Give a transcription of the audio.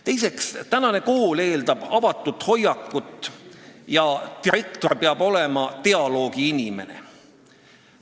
Teiseks, tänapäevane kool eeldab avatud hoiakut ja direktor peab olema dialoogi inimene.